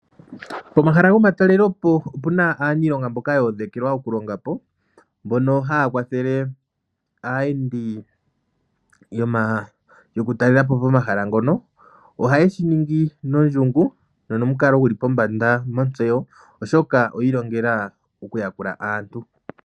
Pomahala gomatalele po opuna aaniilonga mboka yoodhekelwa po okulonga po .Mboka haya kwathele aayendi yo ku talela po pomahala ngoka ohaye shiningi nondjingu nonomukalo guli pombanda motseyo oshoka oyi ilongela oku yakula aantu.